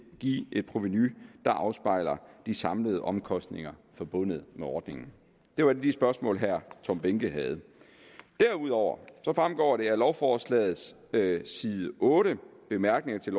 give et provenu der afspejler de samlede omkostninger forbundet med ordningen det var et af de spørgsmål herre tom behnke havde derudover fremgår det af lovforslagets side otte bemærkninger til